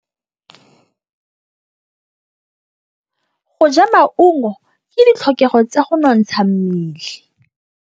Go ja maungo ke ditlhokegô tsa go nontsha mmele.